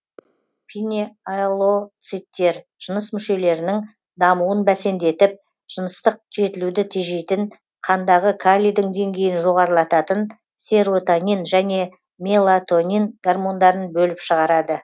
пинеалоциттер жыныс мүшелерінің дамуын бәсендетіп жыныстық жетілуді тежейтін қандағы калийдің деңгейін жоғарылататын серотонин және мелатонин гормондарын бөліп шығарады